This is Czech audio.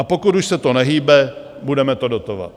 A pokud už se to nehýbe, budeme to dotovat."